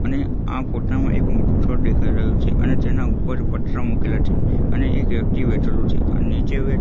અને આ ફોટા માં એક મોટુ છોડ દેખાય રહ્યું છે અને તેના ઉપર પતરા મુકેલા છે અને એક વ્યક્તિ બેઠેલું છે અને નીચે --